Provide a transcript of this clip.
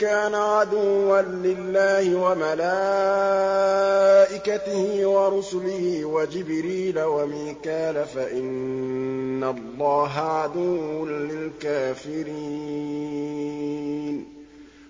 كَانَ عَدُوًّا لِّلَّهِ وَمَلَائِكَتِهِ وَرُسُلِهِ وَجِبْرِيلَ وَمِيكَالَ فَإِنَّ اللَّهَ عَدُوٌّ لِّلْكَافِرِينَ